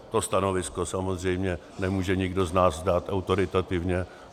To stanovisko samozřejmě nemůže nikdo z nás dát autoritativně.